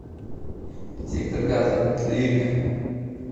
сектор газа лирика